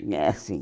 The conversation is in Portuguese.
Foi assim.